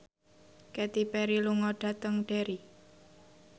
Katy Perry lunga dhateng Derry